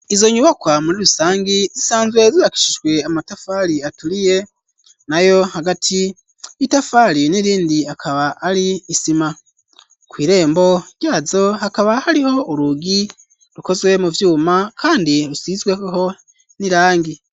Izo nyubakwa muri rusangi zisanzwe zubakishijwe amatafari aturiye nayo hagati y'itafari n'irindi hakaba ari isima kw'irembo ryazo hakaba hariho urugi rukozwe mu vyuma kandi rusizweho n'irangi.